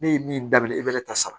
Ne ye min daminɛ e bɛ ne ta sara